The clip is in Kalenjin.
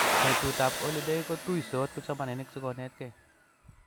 Betutab oliday ko tuisot kipsomaninik sikonetkei